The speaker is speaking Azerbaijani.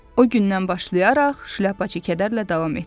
O gündən başlayaraq Şlyapaçı kədərlə davam etdi.